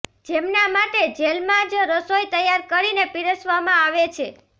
જેમના માટે જેલમાં જ રસોઇ તૈયાર કરીને પીરસવામાં આવે છે